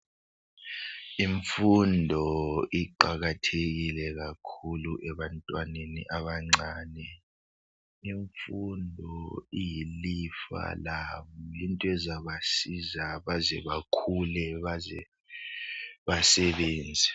Imfundo iqakathekile kakhulu ebantwaneni abancane. Imfundo iyilifa labo lento ezabasiza baze bakhule bazebasebenze.